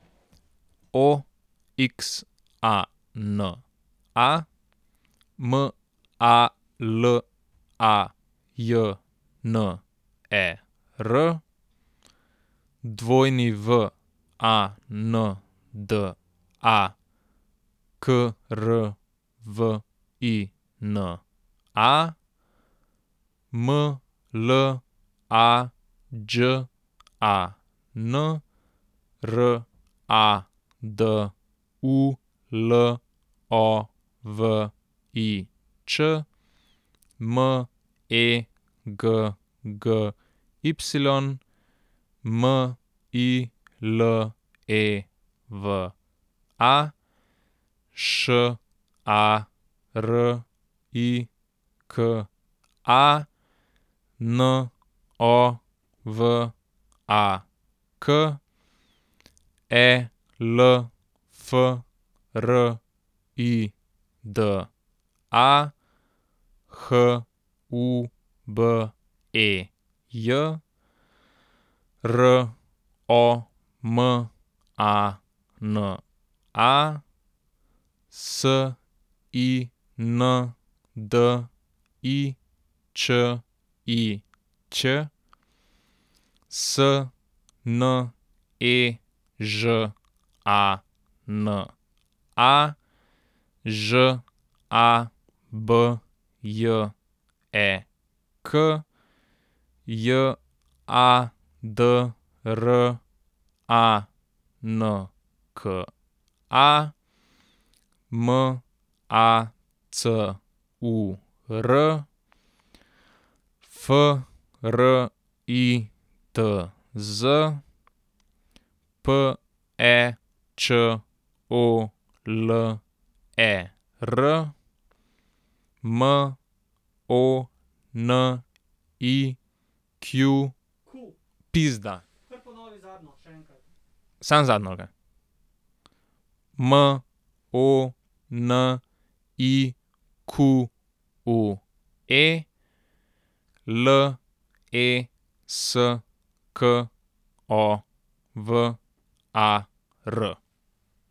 O X A N A, M A L A J N E R; W A N D A, K R V I N A; M L A Đ A N, R A D U L O V I Č; M E G G Y, M I L E V A; Š A R I K A, N O V A K; E L F R I D A, H U B E J; R O M A N A, S I N D I Č I Ć; S N E Ž A N A, Ž A B J E K; J A D R A N K A, M A C U R; F R I T Z, P E Č O L E R; M O N I Q Q U E pizda, kar ponovi zadnjo še enkrat, samo zadnjo ali kaj? M O N I Q U E, L E S K O V A R.